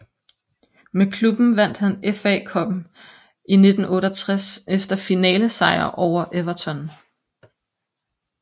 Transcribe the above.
Med klubben vandt han FA Cuppen i 1968 efter finalesejr over Everton